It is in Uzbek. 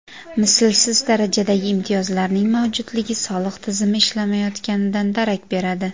Mislsiz darajadagi imtiyozlarning mavjudligi soliq tizimi ishlamayotganidan darak beradi.